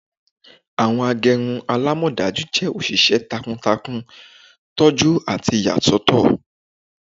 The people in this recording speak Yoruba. Awọn agbẹrun alamọdaju jẹ oṣiṣẹ takuntakun, tọju ati iyasọtọ